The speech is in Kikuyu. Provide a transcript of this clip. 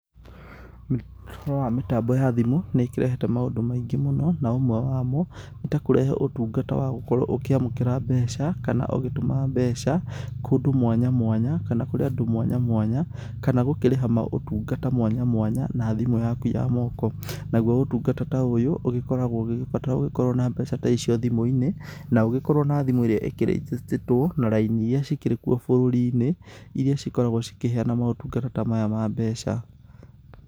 Ũhoro wa mĩtambo ya thimũ nĩikĩrehete maũndũ maingĩ mũno na ũmwe wa mo nĩtakũrehe ũtungata wa gũkorwo ũkĩamũkĩra mbeca kana ũgĩtũma mbeca kũndũ mwanya mwanya kana kũrĩ andũ mwanya mwanya kana gũkĩrĩha motungata mwanya mwanya na thimũ yaku ya guoko, nagũo ũtungata ta ũyũ ũgĩkoragwo ũgĩgĩbatara ũgĩkorwo na mbeca ta icio thimũ-inĩ na ũgĩkorwo na thimũ ĩrĩjĩcĩtĩtwo na raini ĩrĩa cikĩrĩkwo bũrũri-inĩ ĩrĩa cikoragwo cikĩheana motungata ta maya ma mbeca.